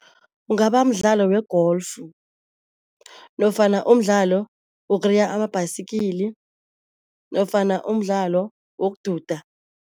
Kungaba mdlalo we-golf nofana umdlalo wokureya ama-bicycle nofana umdlalo wokududa.